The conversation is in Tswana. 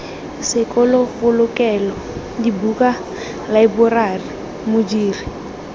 sekolo polokelo dibuka laeborari modiri